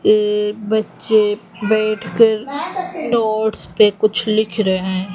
एक बच्चे बैठकर नोट्स पे कुछ लिख रहे--